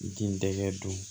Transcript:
Den dɛgɛ don